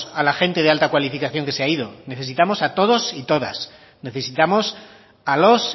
a la gente de alta cualificación que se ha ido necesitamos a todos y todas necesitamos a los